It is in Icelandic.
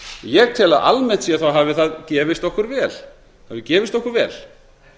ég tel að almennt séð hafi það gefist okkur vel hafi gefist okkur vel